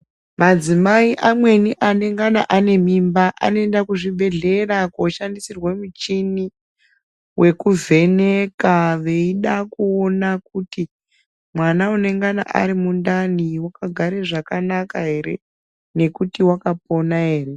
Madzimai amweni anengana ane mimba anoenda kuzvibhehlera kunoshandisirwa muchini wekuvheneka veida kuona kuti mwana unenge ari mundani wakagare zvakanaka ere nekuti wakapona ere.